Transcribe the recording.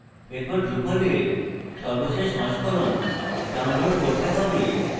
এরপর drupal এর সর্বশেষ সংস্করণ download করতে have